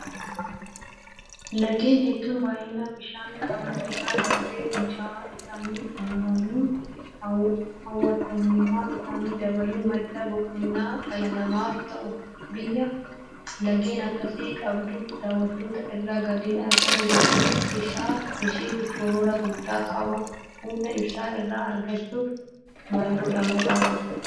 Laggeen hedduun baay'ina bishaan qabanii irra darbee; Fincaa'aa isaan uumaniin hawwattummaa isaanii dabaluun madda boqonnaa dhala namaaf ta'u. Biyya laggeen akkasii qabduuf daawwattoota irraa galiin argamu guddina isheef shoora guddaa qaba. Humna Ibsaa irraa argachuuf maalgodhamuu qaba?